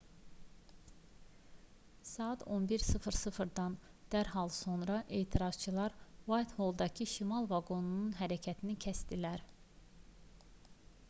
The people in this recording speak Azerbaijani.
saat 11:00-dan dərhal sonra etirazçılar uaytholldakı şimal vaqonunun hərəkətini kəsdilər